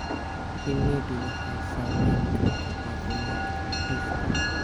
Shinnidu waxay saameyn kartaa caafimaadka dhirta.